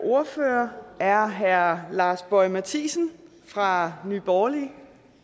ordfører er herre lars boje mathiesen fra nye borgerlige